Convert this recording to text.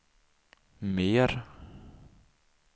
mer